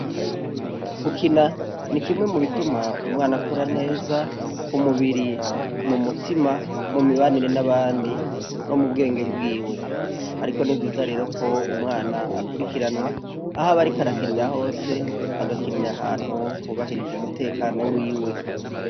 Gukina ni kimwe mu bituma umwana akura neza ku mubiri, mu mutima no mu mibanire n'abandi no mu bwenge bwiwe. Ariko ni vyiza rero ko umwana akurikiranwa, aho aba ariko arakinira hose, agakinira ahantu hubahirije umutekano wiwe.